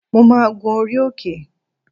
Mo máa gun orí òkè